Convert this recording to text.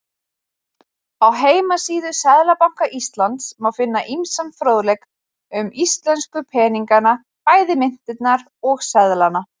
Á heimasíðu Seðlabanka Íslands má finna ýmsan fróðleik um íslensku peningana, bæði myntirnar og seðla.